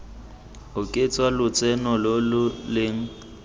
oketsa lotseno lo lo leng